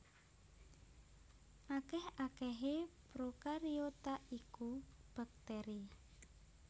Akèh akèhé prokariota iku baktèri